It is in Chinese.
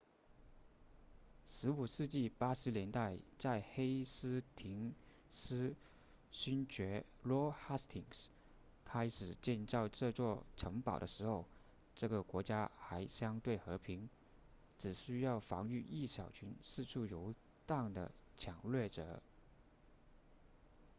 15世纪80年代在黑斯廷斯勋爵 lord hastings 开始建造这座城堡的时候这个国家还相对和平只需要防御一小群四处游荡的抢掠者